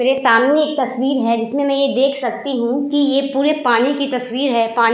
मेरे सामने एक तस्वीर है जिसमें मैं ये देख सकती हूं कि ये पूरे पानी की तस्वीर है। पानी --